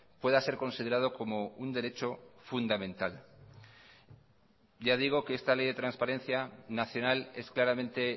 pueda ser considerado como un derecho fundamental ya digo que esta ley de transparencia nacional es claramente